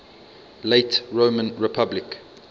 late roman republic